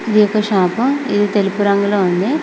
ఈ ఒక షాపు అది తెలుపూ రంగులో ఉంది.